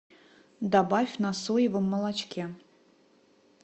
добавь на соевом молочке